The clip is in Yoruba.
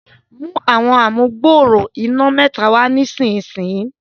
mú Àwọn amugbooro iná mẹta wá nísìsiyìí.